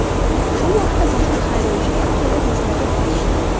Shu vaqtda boshqa haydovchilar kelib bizni to‘xtatishdi.